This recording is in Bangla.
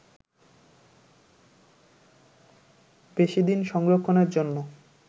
বেশি দিন সংরক্ষণের জন্য